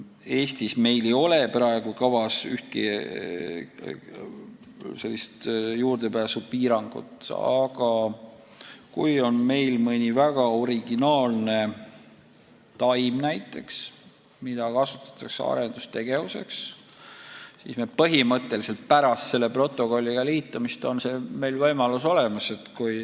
Eestis meil ei ole praegu kavas ühtki sellist juurdepääsupiirangut kehtestada, aga kui meil on näiteks mõni väga originaalne taim, mida kasutatakse arendustegevuseks, siis põhimõtteliselt pärast selle protokolliga liitumist on meil see võimalus olemas.